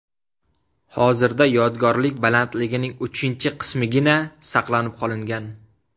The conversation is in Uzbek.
Hozirda yodgorlik balandligining uchinchi qismigina saqlanib qolingan.